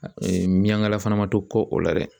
miyankala fana ma to kɔ o la dɛ